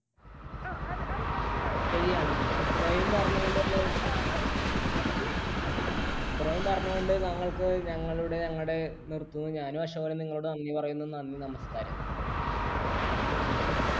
ശരിയാണ് , ഇത്രയും പറഞ്ഞുകൊണ്ട് ഞങ്ങൾക്ക് ഞങ്ങളുടെ ഞങ്ങടെ നിർത്തുന്നു ഞാനും നിങ്ങളോട് നന്ദി പറയുന്നു, നന്ദി നമസ്കാരം.